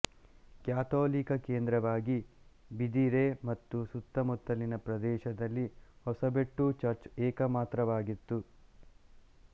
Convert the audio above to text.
ಕಥೋಲಿಕ ಕೇಂದ್ರವಾಗಿ ಬಿದಿರೆ ಹಾಗೂ ಸುತ್ತಮುತ್ತಲಿನ ಪ್ರದೇಶದಲ್ಲಿ ಹೊಸಬೆಟ್ಟು ಚರ್ಚ್ ಏಕಮಾತ್ರವಾಗಿತ್ತು